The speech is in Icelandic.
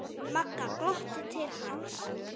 Magga glottir til hans.